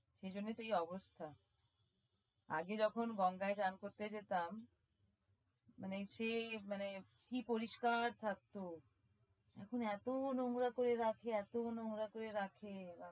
সেই জন্যই তো এই অবস্থা আগে যখন গঙ্গায় স্নান করতে যেতাম মানে সে মানে কি পরিস্কার থাকতো এখন এতো নোংরা করে রাখে এতো নোংরা করে রাখে